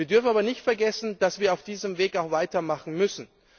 Wir dürfen aber nicht vergessen, dass wir auf diesem Weg weitermachen müssen.